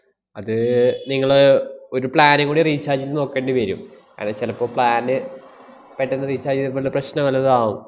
അത് നിങ്ങള് ഒരു plan ഉം കൂടി recharge ചെയ്‌ത്‌ നോക്കേണ്ടി വെരും. അത് ചെലപ്പോ plan ന് പെട്ടന്ന് recharge ചെയ്തപ്പോള്ള പ്രശ്നം വല്ലതും ആവും.